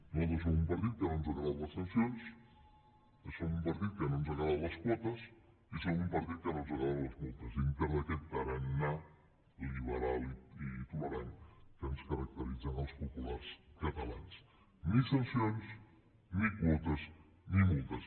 nosaltres som un partit que no ens agraden les sancions som un partit que no ens agraden les quotes i som un partit que no ens agraden les multes dintre d’aquest tarannà liberal i tolerant que ens caracteritza als populars catalans ni sancions ni quotes ni multes